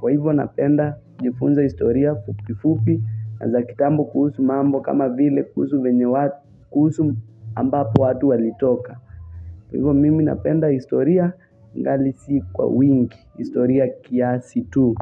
Kwa hivyo napenda nifunza historia fupifupi na za kitambo kuhusu mambo kama vile kuhusu venye watu kuhusu ambapo watu walitoka Kwa hivyo mimi napenda historia ingali si kwa wingi historia kiasi tu.